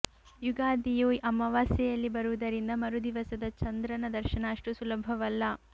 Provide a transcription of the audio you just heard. ಯುಗಾದಿಯು ಅಮಾವಾಸ್ಯೆಯಲ್ಲಿ ಬರುವುದರಿಂದ ಮರು ದಿವಸದ ಚಂದ್ರನ ದರ್ಶನ ಅಷ್ಟು ಸುಲಭವಲ್ಲ